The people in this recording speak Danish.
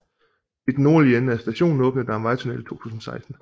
I den nordlige ende af stationen åbnede der en vejtunnel i 2016